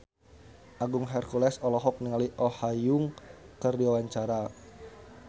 Agung Hercules olohok ningali Oh Ha Young keur diwawancara